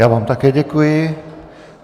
Já vám také děkuji.